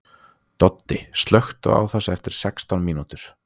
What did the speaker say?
Doddi, slökktu á þessu eftir sextán mínútur.